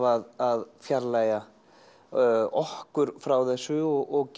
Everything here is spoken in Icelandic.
að fjarlægja okkur frá þessu og